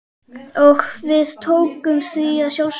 Og við tókum því að sjálfsögðu.